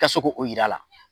Ka se k'o yir'a la